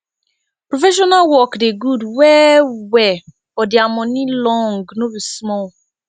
professional work dey gud well well but dia moni long no be small